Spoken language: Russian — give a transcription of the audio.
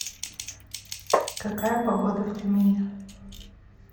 какая погода в тюмени